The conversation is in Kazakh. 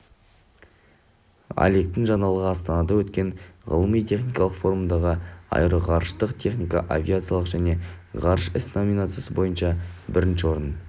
олегтің жаңалығы астанада өткен ғылыми-техникалық форумда аэроғарыштық техника авиация және ғарыш ісі номинациясы бойынша бірінші орын